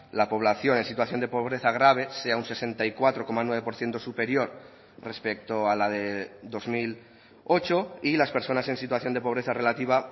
la población en situación de pobreza grave sea un sesenta y cuatro coma nueve por ciento superior respecto a la de dos mil ocho y las personas en situación de pobreza relativa